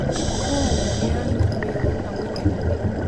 Kowalndagee ano sopeng'ung amun eng' anee